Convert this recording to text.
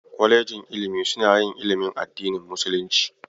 Kwalejin ilimi suna yin ilimin addinin musulunci.